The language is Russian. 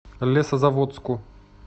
лесозаводску